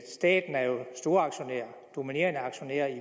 staten er jo storaktionær dominerende aktionær i